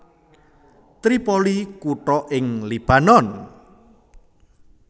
Tripoli kutha ing Libanon